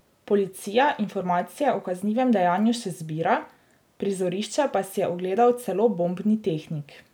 Policija informacije o kaznivem dejanju še zbira, prizorišče pa si je ogledal celo bombni tehnik.